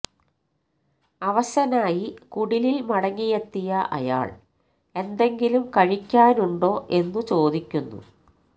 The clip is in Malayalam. അവശനായി കുടിലിൽ മടങ്ങിയെത്തിയ അയാൾ എന്തെങ്കിലും കഴിക്കാനുണ്ടോ എന്നു ചോദിക്കുന്നു